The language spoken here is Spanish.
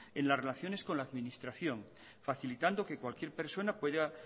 en las relaciones con la administración facilitando que cualquier persona pueda